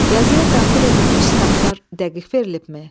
Yazıya daxil edilmiş statlar dəqiq verilbmi?